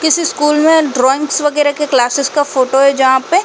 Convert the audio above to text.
किसी स्कुल में ड्रॉइंग वगेरा के क्लासिस का फोटो है जहाँ पे --